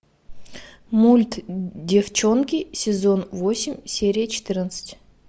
мульт деффчонки сезон восемь серия четырнадцать